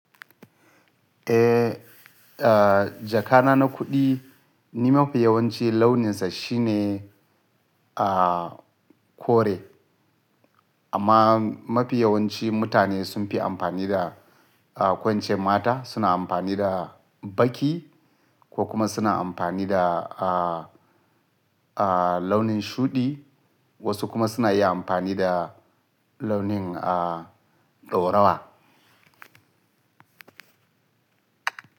Eh, ah, jakana na kuɗi, ni mafi yawanci launinsa shine, ah, kore. Amma mafi yawanci mutane sun fi amfani da, ah, ko ince mata suna amfani da baƙi ko kuma suna amfani da, ah, ah, launin shuɗi, wasu kuma suna iya amfani da launin, ah, ɗaurawa.